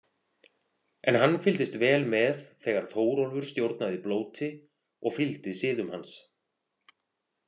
En hann fylgdist vel með þegar Þórólfur stjórnaði blóti og fylgdi siðum hans.